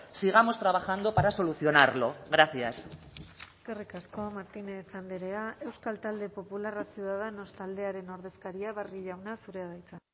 sigamos trabajando para solucionarlo gracias eskerrik asko martínez andrea euskal talde popularra ciudadanos taldearen ordezkaria barrio jauna zurea da hitza